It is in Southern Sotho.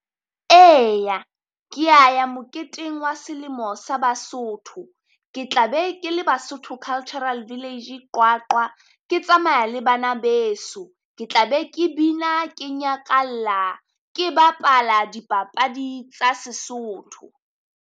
Eya kea ya moketeng wa selemo sa Basotho, ke tla be ke le Basotho Cultural village Qwaqwa. Ke tsamaya le bana beso, ke tla be ke bina ke nyakalla ke bapala dipapadi tsa seSotho.